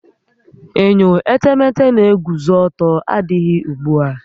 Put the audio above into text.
Enyo etemete n'eguzo ọtọ adịghị ugbu a